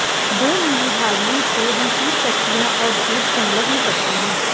दो नीली धारियों से हम सूट पट्टियाँ और जेब संलग्न करते हैं